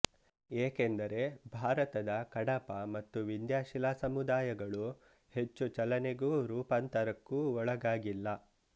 ಏಕೆಂದರೆ ಭಾರತದ ಕಡಪ ಮತ್ತು ವಿಂಧ್ಯ ಶಿಲಾಸಮುದಾಯಗಳು ಹೆಚ್ಚು ಚಲನೆಗೂ ರೂಪಾಂತರಕ್ಕೂ ಒಳಗಾಗಿಲ್ಲ